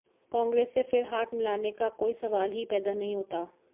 कांग्रेस से फिर हाथ मिलाने का कोई सवाल ही पैदा नहीं होता